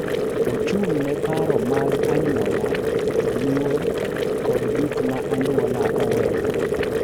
Ochung’ ne paro mag anyuola, luor, kod gik ma anyuola oweyo.